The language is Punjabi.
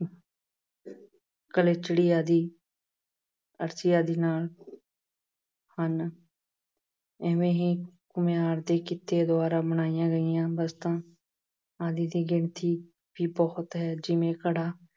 ਗਲਿਚੜੀ ਆਦਿ ਅਰਸੀ ਆਦਿ ਨਾਲ ਹਨ। ਏਵੇਂ ਹੀ ਘੁਮਿਆਰ ਦੇ ਕਿੱਤੇ ਦੁਆਰਾ ਬਣਾਈਆਂ ਗਈਆਂ ਵਸਤਾਂ ਆਦਿ ਦੀ ਗਿਣਤੀ ਵੀ ਬਹੁਤ ਹੈ। ਜਿਵੇਂ- ਘੜਾ,